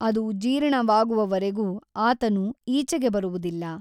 ಅದು ಜೀರ್ಣವಾಗುವವರೆಗೂ ಆತನು ಈಚೆಗೆ ಬರುವುದಿಲ್ಲ.